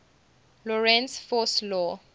lorentz force law